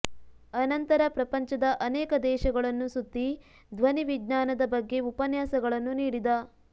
ಅನಂತರ ಪ್ರಪಂಚದ ಅನೇಕ ದೇಶಗಳನ್ನು ಸುತ್ತಿ ಧ್ವನಿವಿಜ್ಞಾನದ ಬಗ್ಗೆ ಉಪನ್ಯಾಸಗಳನ್ನು ನೀಡಿದ